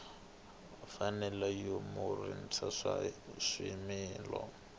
mfanelo ya mukurisi wa swimila